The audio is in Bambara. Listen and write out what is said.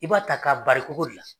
I b'a ta k'a bari kogo de la